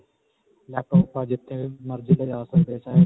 laptop ਆਪਾਂ ਜਿੱਥੇ ਮਰਜੀ ਲਿਜਾਂ ਸਕਦੇ ਹਾਂ.